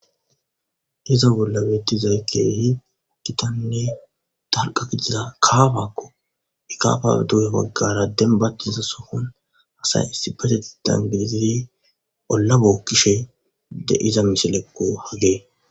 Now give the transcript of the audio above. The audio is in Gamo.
Iza bolla beeththizay keehi githanne dalgga gidiza kaamakko;ha baggaara dembbaththiza sohon asay issippetheththan gidizi olla bookkishe de7iza misilekko hagee.